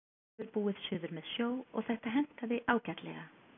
Hann hefur búið suður með sjó og þetta hentaði ágætlega.